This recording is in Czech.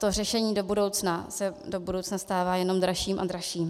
To řešení do budoucna se do budoucna stává jenom dražším a dražším.